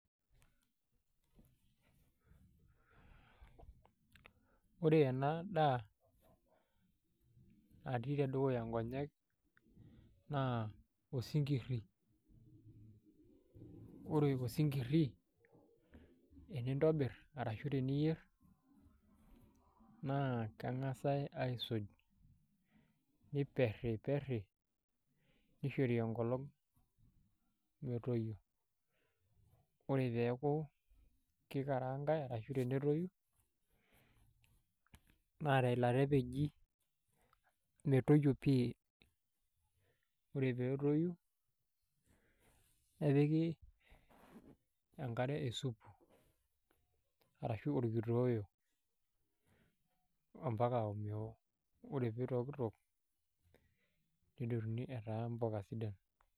Ore ena daa natii tedukuya nkonyek naa osinkirri, ore osonkirri tenintobirr arashu teniyierr naa keng'asai aisuj niperriperri nishori enkolong' metoyio ore pee eeku kikaraangai ashu pee etoyu naa teilata epeji metoyio pii ore pee etoyu nepiki enkare esupu arashu orkitoeoo ompaka omeoo ore pee itoikitok nedotuni etaa mpuka sidan.